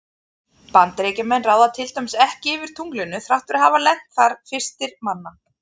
Bandaríkjamenn ráða til dæmis ekki yfir tunglinu þrátt fyrir að hafa lent þar fyrstir manna.